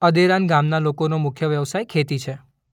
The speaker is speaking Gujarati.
અદેરાન ગામના લોકોનો મુખ્ય વ્યવસાય ખેતી છે.